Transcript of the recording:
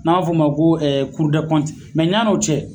N'an ba f'o ma, ko ɛɛ . ya n'o cɛ